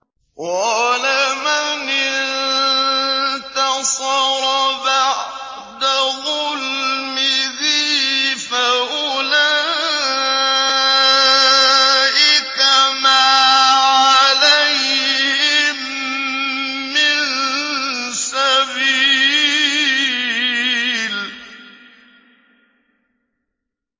وَلَمَنِ انتَصَرَ بَعْدَ ظُلْمِهِ فَأُولَٰئِكَ مَا عَلَيْهِم مِّن سَبِيلٍ